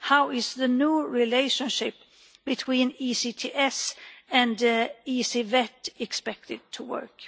How is the new relationship between ECTS and ECVET expected to work?